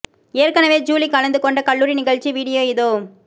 ஏற்கனவே ஜூலி கலந்துக் கொண்ட கல்லூரி நிகழ்ச்சி வீடியோ இதோ